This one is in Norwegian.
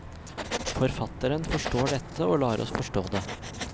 Forfatteren forstår dette, og lar oss forstå det.